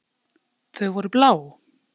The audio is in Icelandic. Þau voru blá.